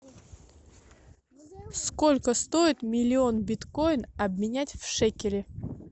сколько стоит миллион биткоин обменять в шекели